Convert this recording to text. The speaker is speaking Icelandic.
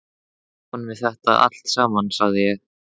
Hann er ofan við þetta allt saman, sagði ég.